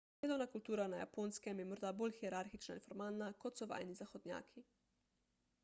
delovna kultura na japonskem je morda bolj hierarhična in formalna kot so vajeni zahodnjaki